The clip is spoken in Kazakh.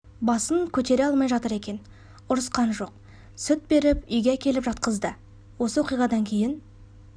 басын көтере алмай жатыр екен ұрысқан жоқ сүт беріп үйге әкеліп жатқызды осы оқиғадан кейін